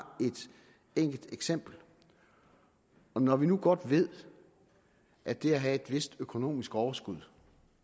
et enkelt eksempel når vi nu godt ved at det at have et vist økonomisk overskud